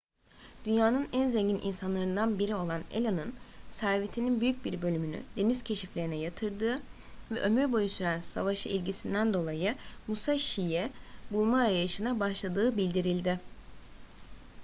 dünyanın en zengin insanlarından biri olan allen'ın servetinin büyük bir bölümünü deniz keşiflerine yatırdığı ve ömür boyu süren savaşa ilgisinden dolayı musashi'yi bulma arayışına başladığı bildirildi